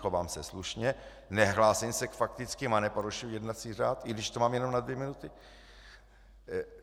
Chovám se slušně, nehlásím se k faktickým a neporušuji jednací řád, i když to mám jenom na dvě minuty.